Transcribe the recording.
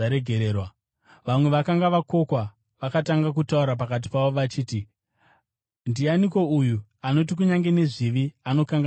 Vamwe vakanga vakokwa vakatanga kutaura pakati pavo vachiti, “Ndianiko uyu anoti kunyange nezvivi anokanganwira?”